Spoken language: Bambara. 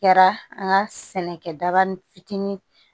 Kɛra an ka sɛnɛkɛda ni fitinin